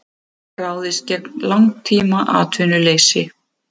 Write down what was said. Ráðist gegn langtímaatvinnuleysi